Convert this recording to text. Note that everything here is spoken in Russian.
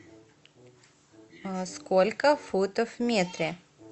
сколько футов в метре